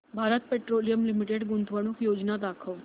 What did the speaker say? Bharat petroleum limited गुंतवणूक योजना दाखव